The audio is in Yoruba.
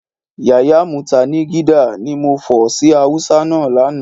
Yàyà mútànigídá, ni mo fọ̀ sí Hausa náà lánàá